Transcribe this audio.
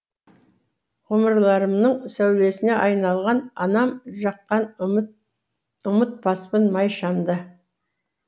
ғұмырымның сәулесіне айналған анам жаққан т ұмытпаспын май шамды